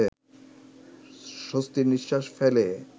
স্বস্তির নিঃশ্বাস ফেলে